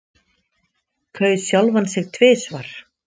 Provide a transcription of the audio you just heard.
Kaus sjálfan sig tvisvar